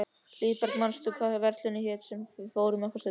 Hlíðberg, manstu hvað verslunin hét sem við fórum í á föstudaginn?